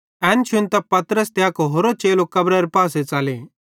एना शुन्तां पतरस त अक होरो चेलो कब्रारे पासे च़ले